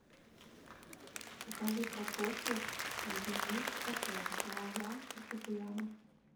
покажи прокофьев альбенис шопен лан лан фортепиано